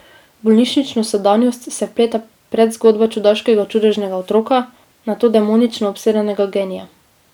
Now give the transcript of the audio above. V bolnišnično sedanjost se vpleta predzgodba čudaškega čudežnega otroka, nato demonično obsedenega genija.